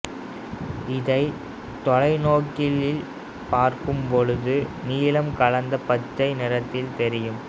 இதைத் தொலைநோக்கியில் பார்க்கும்பொழுது நீலம் கலந்த பச்சை நிறத்தில் தெரியும்